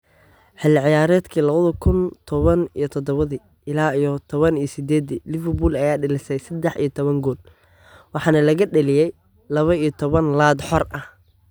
Xilli ciyaareedkii labadi kuun toban iyo todabi ila iyo toban iyo sidedi, Liverpool ayaa dhalisay sedax iyo toban gool, waxaana laga dhaliyay laba iyo toban laad xor ah.